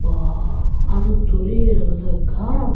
baa aa russoriye olodey ekkey aram obo.